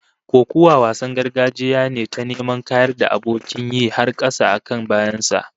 Kokuwa wasan gargajiya ne ta neman kayar da abokin yi har kasa, a kan bayan sa